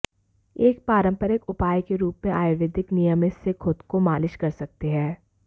एक पारंपरिक उपाय के रूप में आयुर्वेद नियमित से खुद को मालिश कर सकते हैं